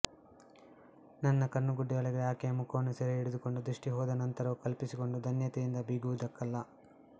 ನನ್ನ ಕಣ್ಣುಗುಡ್ಡೆಯೊಳಗೆ ಆಕೆಯ ಮುಖವನ್ನು ಸೆರೆ ಹಿಡಿದುಕೊಂಡು ದೃಷ್ಟಿ ಹೋದ ನಂತರವೂ ಕಲ್ಪಿಸಿಕೊಂಡು ಧನ್ಯತೆಯಿಂದ ಬೀಗುವುದಕ್ಕಲ್ಲ